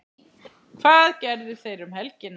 Hvað gerðu þeir um helgina?